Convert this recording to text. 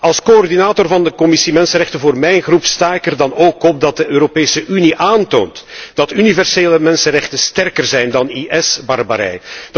Als coördinator van de Commissie mensenrechten voor mijn fractie sta ik er dan ook op dat de Europese Unie aantoont dat universele mensenrechten sterker zijn dan IS barbarij.